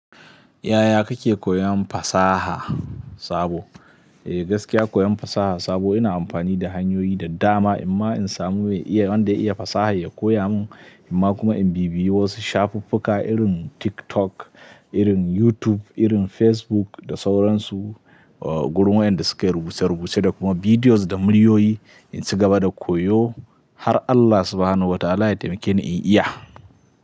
Yaya kake koyan fasaha sabo? Eh gaskiya koyan fasaha sabo ina amfani da hanyoyi da dama. Amma in samu mai iya wanda iya fasaha ya koya mun, amma kuma in bibiyi shafuffuka irin TikTok, irin YouTube, irin Facebook da sauransu. Gurin wa inda suke rubuce rubuce da kuma bidiyos da muryoyi in ci gaba da koyo har Allah Subhanahu wa ta'ala ya taimakeni in iya.